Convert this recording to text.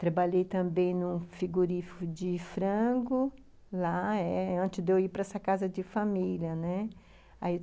Trabalhei também em um frigorífico de frango lá, antes de eu ir para essa casa de família, né.